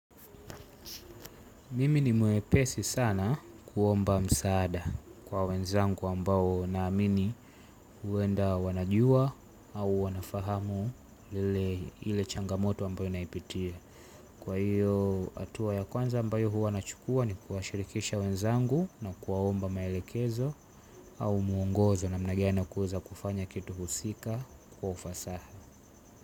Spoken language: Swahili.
Mimi ni mwepesi sana kuomba msaada kwa wenzangu ambao na amini huenda wanajua au wanafahamu ile changamoto ambayo naipitia. Kwa hiyo atua ya kwanza ambayo huwa nachukua ni kuwashirikisha wenzangu na kuwaomba maelekezo au mwongozo namna gani ya kuweza kufanya kitu husika kwa ufasaha.